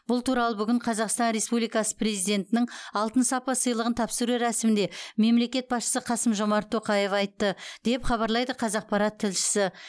бұл туралы бүгін қазақстан республикасы президентінің алтын сапа сыйлығын тапсыру рәсімінде мемлекет басшысы қасым жомарт тоқаев айтты деп хабарлайды қазақпарат тілшісі